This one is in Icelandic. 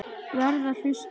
Verð að hlusta.